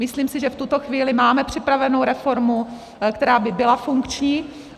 Myslím si, že v tuto chvíli máme připravenu reformu, která by byla funkční.